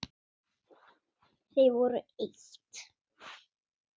Þau voru eitt.